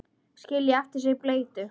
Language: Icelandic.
Skilja eftir sig bleytu.